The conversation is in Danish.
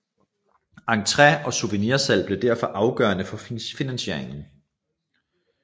Entré og souvenirsalg bliver derfor afgørende for finansieringen